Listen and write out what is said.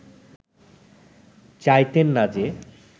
চাইতেন না যে